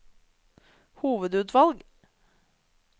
hovedutvalg